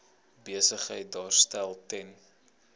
besigheid daarstel ten